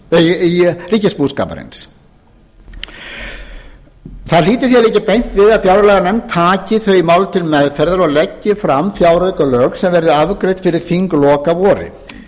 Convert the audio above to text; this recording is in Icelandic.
ríkisbúskaparins það hlýtur því að liggja beint við að fjárlaganefnd taki þau mál til meðferðar og leggi fram fjáraukalagafrumvarp sem verði afgreitt fyrir þinglok að vori